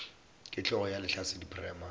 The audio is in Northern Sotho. ke hlogo ya lehlasedi primary